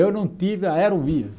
Eu não tive aerovia.